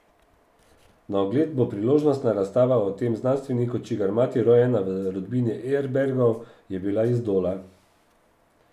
Na ogled bo priložnostna razstava o tem znanstveniku, čigar mati, rojena v rodbini Erbergov, je bila iz Dola.